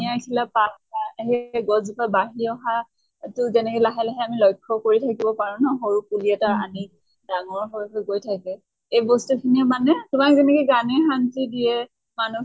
বিলাক পাত সেই গছ জোপা বাঢ়ি অহা তʼ তেনেকে লাহে লাহে আমি লক্ষ্য় কৰি থাকিব পাৰো ন সৰু পুলি এটা আনি ডাঙৰ হৈ হৈ গৈ থাকে। এই বস্তু খিনিয়ে মানে তোমাক যেনেকে গানে শান্তি দিয়ে, মানʼ